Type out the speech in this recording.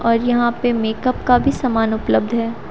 और यहां पे मेकअप का भी सामान उपलब्ध हैं।